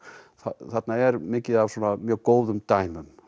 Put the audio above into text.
þarna er mikið af mjög góðum dæmum